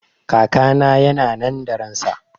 Kakana yana nan da ransa